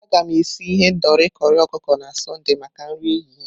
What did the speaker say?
Aga m esi ihendori corri ọkụkọ na Sọnde maka nri ehihie.